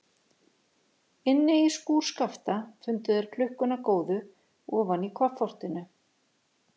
Inni í skúr Skapta fundu þeir klukkuna góðu ofan í koffortinu.